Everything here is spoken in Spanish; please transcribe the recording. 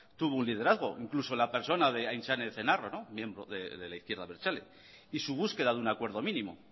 tuvo un liderazgo incluso en la persona de aintzane ezenarro miembro de la izquierda abertzale y su búsqueda de un acuerdo mínimo